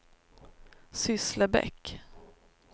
Sysslebäck